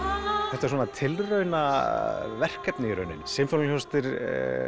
þetta er tilraunaverkefni í rauninni sinfóníuhljómsveitir